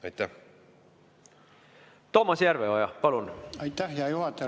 Aitäh, hea juhataja!